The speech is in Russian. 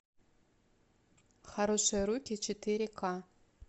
хорошие руки четыре ка